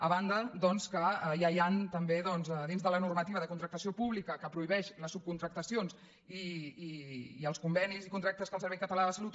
a banda doncs que ja hi han també dins de la normativa de contractació pública que prohibeix les subcontractacions i els convenis i contractes que el servei català de la salut